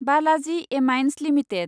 Balaji amines limited